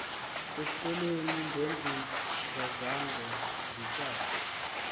esikolweni ngendingazange nditsak